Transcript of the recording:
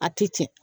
A ti tiɲɛ